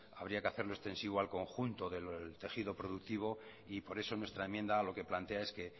habría que hacerlo extensivo al conjunto del tejido productivo y por eso nuestra enmienda lo que plantea es que